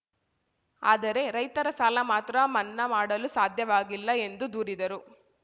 ಆದರೆ ರೈತರ ಸಾಲ ಮಾತ್ರ ಮನ್ನಾ ಮಾಡಲು ಸಾಧ್ಯವಾಗಿಲ್ಲ ಎಂದು ದೂರಿದರು